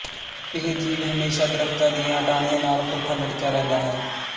ਇਹ ਜੀਵ ਹਮੇਸ਼ਾ ਦਰੱਖਤਾਂ ਦੀਆਂ ਟਾਹਣੀਆਂ ਨਾਲ ਪੁੱਠਾ ਲਟਕਿਆ ਰਹਿੰਦਾ ਹੈ